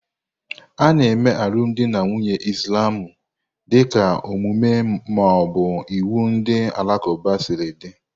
Ana eme alụmdi na nwunye Islamu dịka omume ma ọ bụ iwu ndị Alakụba siri dị.